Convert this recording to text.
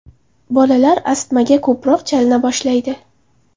Bolalar astmaga ko‘proq chalina boshlaydi.